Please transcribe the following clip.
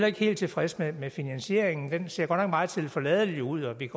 ikke helt tilfredse med finansieringen den ser godt nok meget tilforladeligt ud og vi